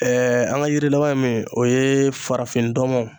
Ɛɛ an ka yiri laban ye min o ye farafindɔnmɔn